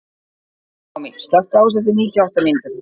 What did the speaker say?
Naomí, slökktu á þessu eftir níutíu og átta mínútur.